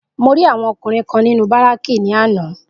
Mo rí àwọn ọkùnrin kan nínú Bárákì ní àná